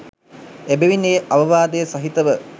එබැවින් ඒ අවවාදය සහිතව